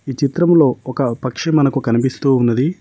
ఈ చిత్రంలో ఒక పక్షి మనకు కనిపిస్తూ ఉన్నది.